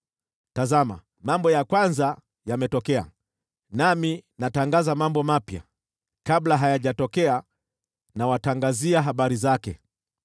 Tazama, mambo ya kwanza yametokea, nami natangaza mambo mapya; kabla hayajatokea nawatangazia habari zake.”